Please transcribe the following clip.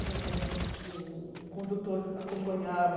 O o o condutor acompanhava.